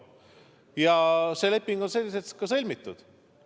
Ja see leping on selliselt ka sõlmitud.